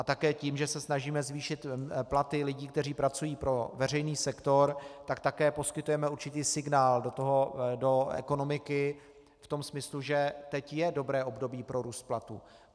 A také tím, že se snažíme zvýšit platy lidí, kteří pracují pro veřejný sektor, tak také poskytujeme určitý signál do ekonomiky v tom smyslu, že teď je dobré období pro růst platů.